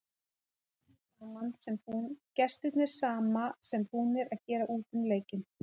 Gestirnir sama sem búnar að gera út um leikinn.